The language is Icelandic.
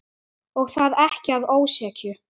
Og það ekki að ósekju.